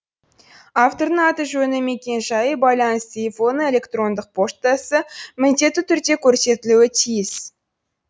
автордың аты жөні мекен жайы байланыс телефоны электрондық поштасы міндетті түрде көрсетілуі тиіс